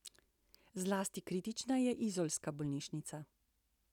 Zlasti kritična je izolska bolnišnica.